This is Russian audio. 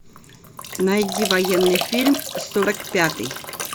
найди военный фильм сорок пятый